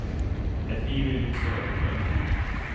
Ett liv i lyx och överflöd.